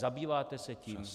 Zabýváte se tím?